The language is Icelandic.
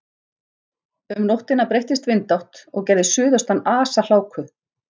Um nóttina breyttist vindátt og gerði suðaustan asahláku.